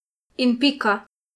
In pika.